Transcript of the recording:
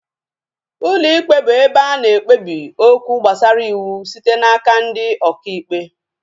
Ụlọ ikpe bụ ụlọ ebe ana ekpebi okwu gbasara ịwụ site n'aka ndị ọkà ikpe